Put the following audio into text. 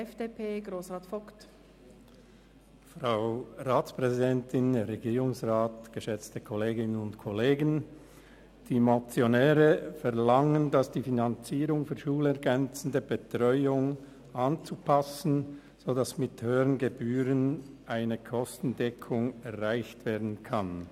Die Motionäre verlangen, die Finanzierung für die schulergänzende Betreuung sei so anzupassen, dass mit höheren Gebühren eine Kostendeckung erreicht werden kann.